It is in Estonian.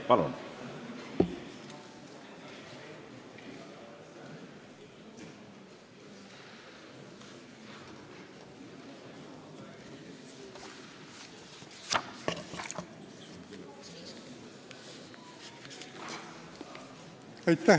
Palun!